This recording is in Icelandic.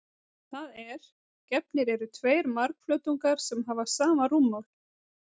Það er: Gefnir eru tveir margflötungar sem hafa sama rúmmál.